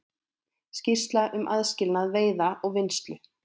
Skýrsla um aðskilnað veiða og vinnslu